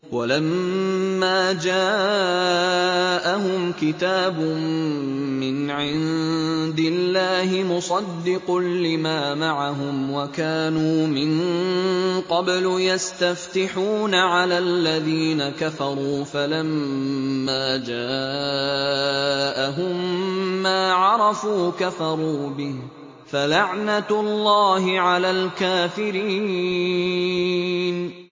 وَلَمَّا جَاءَهُمْ كِتَابٌ مِّنْ عِندِ اللَّهِ مُصَدِّقٌ لِّمَا مَعَهُمْ وَكَانُوا مِن قَبْلُ يَسْتَفْتِحُونَ عَلَى الَّذِينَ كَفَرُوا فَلَمَّا جَاءَهُم مَّا عَرَفُوا كَفَرُوا بِهِ ۚ فَلَعْنَةُ اللَّهِ عَلَى الْكَافِرِينَ